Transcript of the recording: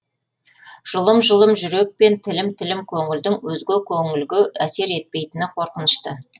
жұлым жұлым жүрек пен тілім тілім көңілдің өзге көңілге әсер етпейтіні қорқынышты